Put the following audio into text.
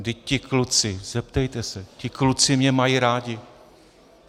Vždyť ti kluci, zeptejte se, ti kluci mě mají rádi.